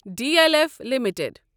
D L F limited